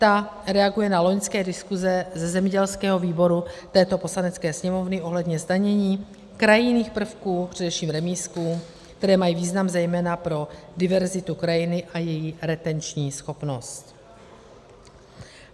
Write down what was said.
Ta reaguje na loňské diskuze ze zemědělského výboru této Poslanecké sněmovny ohledně zdanění krajinných prvků, především remízků, které mají význam zejména pro diverzitu krajiny a její retenční schopnost.